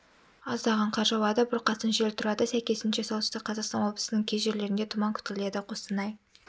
аздаған қар жауады бұрқасын жел тұрады сәйкесінше солтүстік қазақстан облысының кей жерлерінде тұман күтіледі қостанай